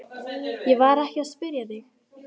Ég var ekki að spyrja þig.